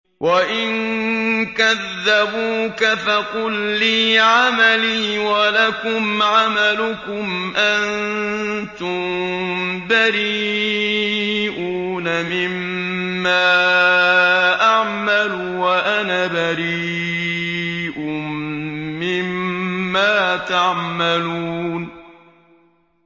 وَإِن كَذَّبُوكَ فَقُل لِّي عَمَلِي وَلَكُمْ عَمَلُكُمْ ۖ أَنتُم بَرِيئُونَ مِمَّا أَعْمَلُ وَأَنَا بَرِيءٌ مِّمَّا تَعْمَلُونَ